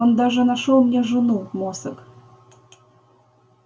он даже нашёл мне жену мосаг